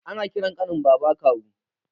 Ana ƙiran ƙanin baba kawu